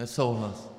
Nesouhlas.